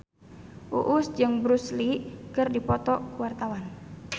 Uus jeung Bruce Lee keur dipoto ku wartawan